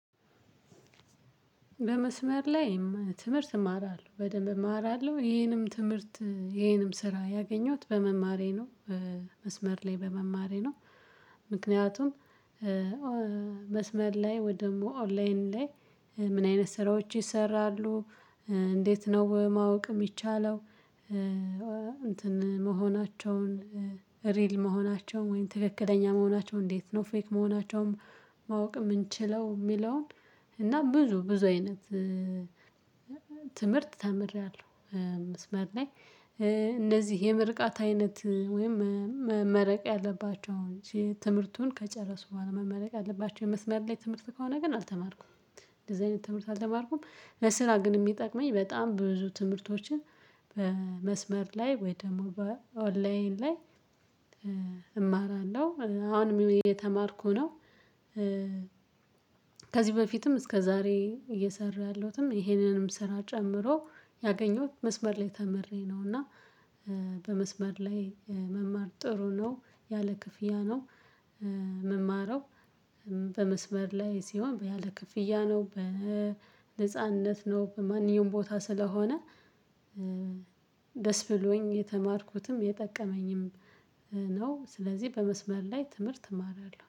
በመስመር ላይ ትምህርት እማራለሁ በደንብ እማራለሁ ይሄንም ትምህርት ይሄንም ስራ ያገኘሁት በመማሬ ነው መስመር ላይ በመማሬ ነው። ምክንያቱም መስመር ላይ ወይ ደግሞ ኦንላይን ላይ ምን አይነት ስራዎች ይሰራሉ? እንዴት ነው ማወቅ የሚቻለው? እንትን መሆናቸውን ሪል መሆናቸውን ወይም ትክክለኛ መሆናቸውን እንዴት ነው ፌክ መሆናቸውን? ማወቅ የምንችለው የሚለውን እና ብዙ ብዙ አይነት ትምህርት ተምሬያለሁ። መስመር ላይ እነዚህ የምርቃት አይነት ወይም መመረቅ ያለባቸው ትምህርቱን ከጨረሱ በኋላ መመረቅ ያለባቸው የመስመር ላይ ትምህርት ከሆነ ግን አልተማርኩም። እንደዚህ አይነት ትምህርት አልተማርኩም። በስራ ግን የሚጠቅመኝ በጣም ብዙ ትምህርቶችን በመስመር ላይ ወይ ደግሞ በኦንላይን ላይ እማራለሁ አሁን እየተማርኩ ነው። ከዚህ በፊትም እስከ ዛሬ እየሰራሁትም ይሄንንም ስራ ጨምሮ ያገኘሁት መስመር ላይ ተምሬ ነው። እና በመስመር ላይ መማር ጥሩ ነው። ያለ ክፍያ ነው። ምማረው በመስበር ላይ ሲሆን ያለ ክፍያ ነው በነጻነት ነው በማንኛውም ቦታ ስለሆነ ደስ ብሎኝ የተማርኩትም የጠቀመኝም ነው። ስለዚህ በመስመር ላይ ትምህርት እማራለሁ